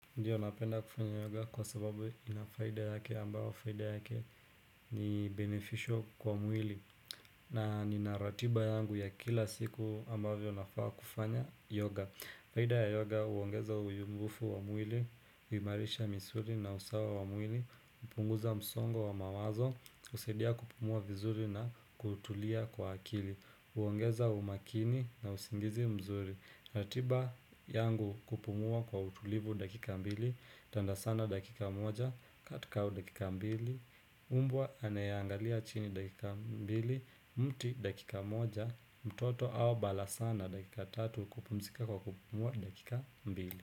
Ndiyo napenda kufanya yoga kwa sababu ina faida yake ambayo faida yake ni beneficial kwa mwili na nina ratiba yangu ya kila siku ambavyo nafaa kufanya yoga. Faida ya yoga huongeza uyumbufu wa mwili, huimarisha misuli na usawa wa mwili, hupunguza msongo wa mamazo, husaidia kupumua vizuri na kutulia kwa akili. Huongeza umakini na usingizi mzuri ratiba yangu kupumua kwa utulivu dakika mbili, tanda sana dakika moja, cat cow dakika mbili, umbwa anayeangalia chini dakika mbili, mti dakika moja, mtoto au balasaa na dakika tatu, kupumzika kwa kupumua dakika mbili.